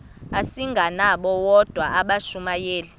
asingabo bodwa abashumayeli